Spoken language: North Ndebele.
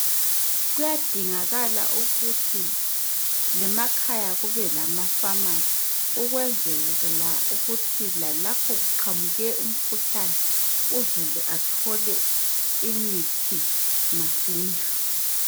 Kuyadingakala ukuthi ngemakhaya kubelamafamasi ukwenzela ukuthi lalapho kuqhamuke umkhuhlane uzulu athole imithi masinyane.